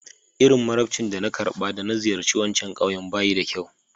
Iti marabanci da na garɓa da na ziyace wancan ƙawyen ba yi kyau.